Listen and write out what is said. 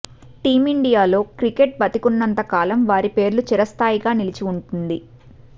టీమిండియాలో cricket బతికున్నంత కాలం వారి పేర్లు చిరస్థాయిగా నిలిచి ఉంటుంది